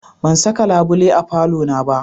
Ban saka labule a falona ba.